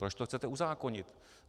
Proč to chcete uzákonit?